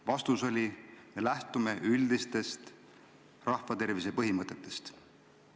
Vastuseks öeldi, et lähtutakse üldistest rahvatervise põhimõtetest.